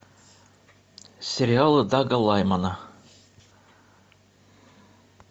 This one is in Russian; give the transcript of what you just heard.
сериалы дага лаймана